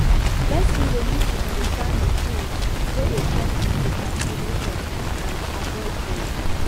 person go need to understand di tins wey dey cause di procrastination and avoid dem